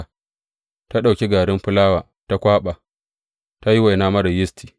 Ta ɗauki garin fulawa ta kwaɓa, ta yi waina marar yisti.